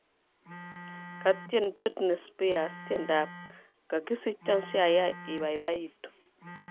Katyen Britney Spears tiendap �kagisichon siayai ibaibaitu�